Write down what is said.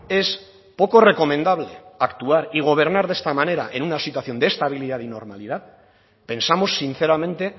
es poco recomendable actuar y gobernar de esta manera en una situación de estabilidad y normalidad pensamos sinceramente